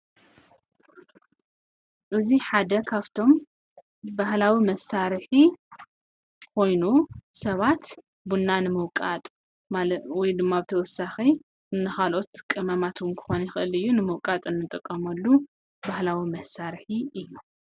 እዙይ ሓደ ኻፍቶም ባህላዊ መሣርሒ ኾይኑ ሰባት ቡና ንምውቃጥ ወይካዓ ካልኦትእ ቅመማት ንምውቃአ ንጥቀመሉ ባህላዊ መሣርሒ እዩ።